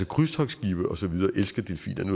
krydstogtskibe og så videre elsker delfiner det